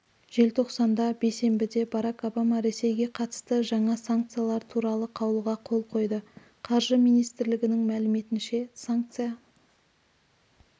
желтоқсанда бейсенбіде барак обама ресейге қатысты жаңа саңкциялар туралы қаулыға қол қойды қаржы министрлігінің мәліметінше санкция